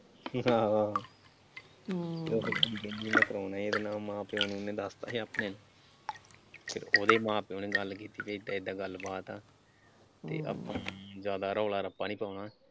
ਆਹੋ ਆਹੋ ਕਿਉਂਕਿ ਕੁੜੀ ਕਹਿੰਦੀ ਮੈਂ ਕਰਾਉਣਾ ਈ ਇਹਦੇ ਨਾਲ ਮਾਂ ਪਿਓ ਨੂੰ ਦੱਸਤਾ ਸੀ ਆਪਣੇ ਨੂੰ ਫਿਰ ਉਹਦੇ ਮਾਂ ਪਿਓ ਨੇ ਗੱਲ ਕੀਤੀ ਕਿ ਏਦਾਂ ਏਦਾਂ ਗੱਲਬਾਤ ਆ ਤੇ ਆਪਾਂ ਜਿਆਦਾ ਰੌਲਾ ਰੱਪਾ ਨਈਂ ਪਾਉਣਾ।